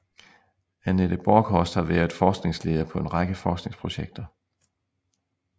Anette Borchorst har været forskningsleder på en række forskningsprojekter